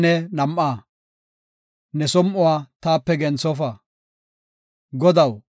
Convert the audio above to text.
Godaw, ta woosa si7a; ta waasoy neeko gako.